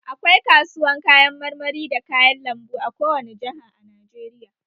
Akwai kasuwan kayan marmari da kayan lambu a kowane Jaha a Najeriya